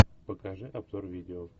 покажи обзор видео